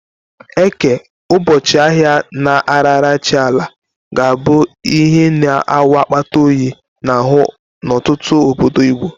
Eke, ụbọchị ahịa a na-arara chi Ala, ga-abụ ihe na-awụ akpata oyi n'ahụ n'ọtụtụ obodo Igbo.